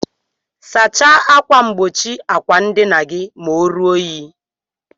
Sacha akwa ngbochi akwa ndina gi ma orụọ inyi.